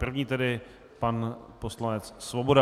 První tedy pan poslanec Svoboda.